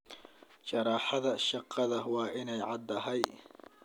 Sharaxaada shaqada waa inay caddahay.